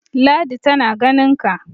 ladi tana ganinka!